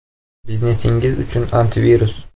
Biznesingiz uchun “antivirus”.